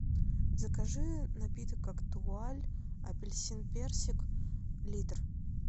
закажи напиток актуаль апельсин персик литр